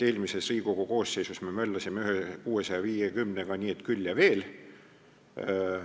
Eelmises Riigikogu koosseisus me möllasime ühe eelnõuga nr 650 nii et küll ja veel.